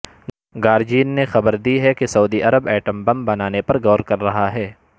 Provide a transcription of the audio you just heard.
guardian نے خبر دی ہے کہ سعودی عرب ایٹم بم بنانے پر غور کر رہاہے